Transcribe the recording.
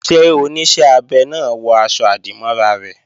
Ṣé Oníṣẹ́ abẹ náà wọ aṣọ-àdìmọ́ra rẹ̀?